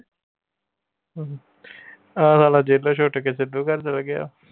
ਆਹ ਸਾਲਾ ਜੇਲੋਂ ਛੁਟ ਕੇ ਸਿੱਧੂ ਘਰ ਚਲਾ ਗਿਆ